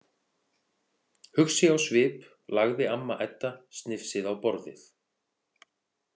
Hugsi á svip lagði amma Edda snifsið á borðið.